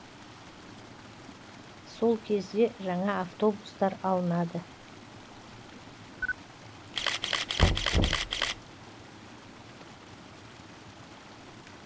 сол кезде жаңа автобустар алынады